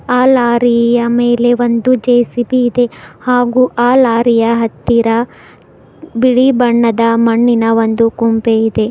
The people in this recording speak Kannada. ಅ ಲಾರಿಯ ಮೇಲೆ ಒಂದು ಜೆ_ಸಿ_ಬಿ ಇದೆಹಾಗೂ ಆ ಲಾರಿಯ ಹತ್ತಿರ ಬಿಳಿ ಬಣ್ಣದ ಮಣ್ಣಿನ ಒಂದು ಕುಂಪೆ ಇದೆ.